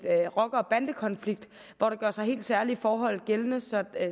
rocker og bandekonflikt hvor der gør sig helt særlige forhold gældende så